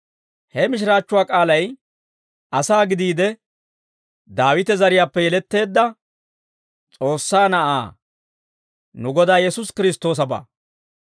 he mishiraachchuwaa k'aalay asaa gidiide Daawite zariyaappe yeletteedda S'oossaa Na'aa, nu Godaa Yesuusi Kiristtoosabaa.